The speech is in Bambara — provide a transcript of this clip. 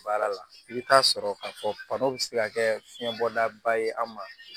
Baara la i bɛ taa sɔrɔ ka fɔ bi se ka kɛ fiɲɛ bɔda ye an ma